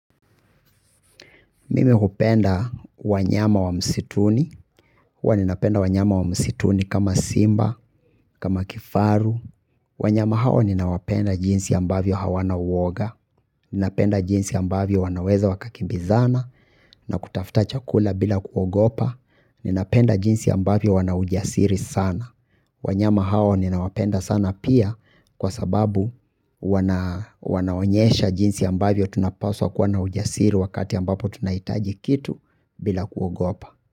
Mimi hupenda wanyama wa msituni, huwa ninapenda wanyama wa msituni kama simba, kama kifaru, wanyama hao ninawapenda jinsi ambavyo hawana uoga, ninapenda jinsi ambavyo wanaweza wakakimbizana na kutafuta chakula bila kuogopa, ninapenda jinsi ambavyo wanaujasiri sana. Wanyama hao ninawapenda sana pia kwa sababu wanaonyesha jinsi ambavyo tunapaswa kuwa na ujasiri wakati ambapo tunahitaji kitu bila kuogopa.